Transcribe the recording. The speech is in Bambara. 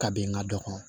Ka bɛn n ka dɔ kɔnɔ